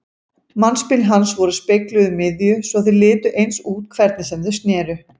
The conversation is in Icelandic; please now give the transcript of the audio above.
Mannspil hans voru spegluð um miðju svo þau litu eins út hvernig sem þau sneru.